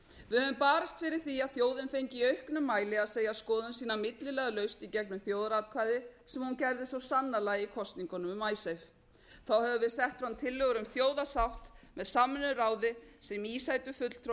við höfum barist fyrir því að þjóðin fengi í auknum mæli að segja skoðun sína milliliðalaust í gegnum þjóðaratkvæði sem hún gerði svo sannarlega í kosningunum um icesave þá höfum við sett fram tillögur um þjóðarsátt með samvinnuráði sem í sætu fulltrúar